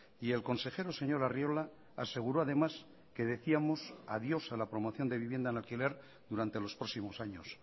y el consejero señor arriola aseguró además que decíamos adiós a la promoción de vivienda en alquiler durante los próximos años